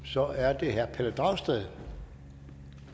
så er det herre pelle dragsted